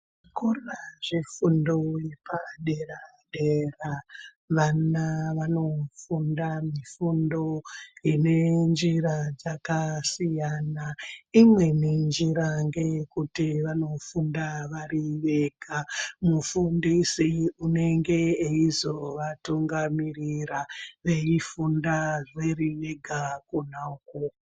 Zvikora zvefundo yepadera-dera vana vanofunda mifundo ine njira dzakasiyana. Imweni njira ngeyekuti vana vanofunda vari vega. Mufundisi unenga eizovatungamirira veifunda vari vega kona ukoko.